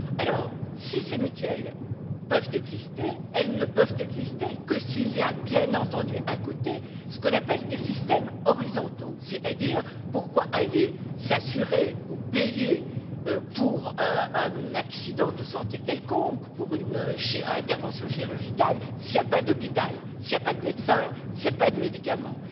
Alors si ces mutuelles peuvent exister, elles ne peuvent exister que s'il y a bien entendu, à côté, ce qu'on appelle des systèmes horizontaux. C'est à dire pourquoi aller s'assurer ou payer pour un accident de santé quelconque, pour une intervention chirurgicale, s'il n'y a pas d'hôpital, s'il n'y a pas de médecin, s'il n'y a pas de médicaments.